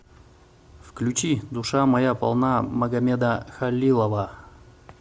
включи душа моя полна магамеда халилова